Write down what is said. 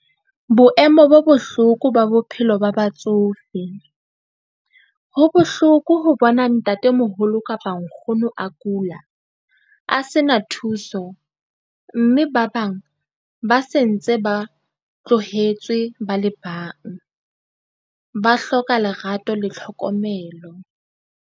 Boemo bo bohloko ba bophelo ba batsofe. Ho bohloko ho bona ntatemoholo kapa nkgono a kula a se na thuso, mme ba bang ba sentse ba tlohetswe ba le bang, ba hloka lerato le tlhokomelo.